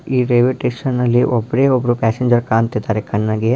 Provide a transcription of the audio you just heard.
ಈ ರೈಲ್ವೆ ಸ್ಟೇಷನಲ್ಲಿ ಒಬ್ಬನೇ ಒಬ್ಬ ಪ್ಯಾಸೆಂಜರ್ ಕಾಣ್ತಾ ಇದ್ದಾನೆ.ಕಣ್ಣಾಗಿ